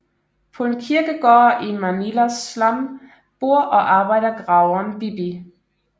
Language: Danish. På en kirkegård i Manilas slum bor og arbejder graveren Bibi